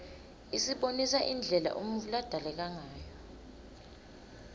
isibonisa indlela umuntfu ladalekangayo